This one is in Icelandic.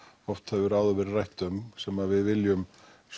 oft hefur áður verið rætt um sem við viljum